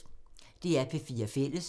DR P4 Fælles